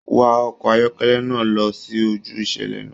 Wá ọkọ ayọkẹlẹ náà lọ sí ojú ìṣẹlẹ náà!